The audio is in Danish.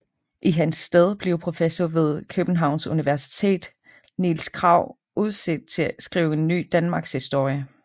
I hans sted blev professor ved Københavns universitet Niels Krag udset til at skrive en ny danmarkshistorie